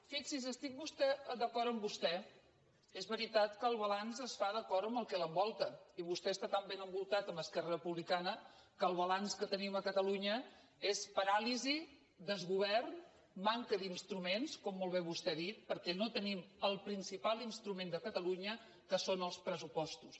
fixi’s estic d’acord amb vostè és veritat que el balanç es fa d’acord amb el que l’envolta i vostè està tan ben envoltat amb esquerra republicana que el balanç que tenim a catalunya és paràlisi desgovern manca d’instruments com molt bé vostè ha dit perquè no tenim el principal instrument de catalunya que són els pressupostos